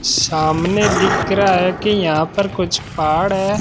सामने दिख रहा है कि यहां पर कुछ पहाड़ है।